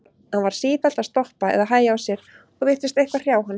Hann var sífellt að stoppa eða hægja á sér og virtist eitthvað hrjá hann.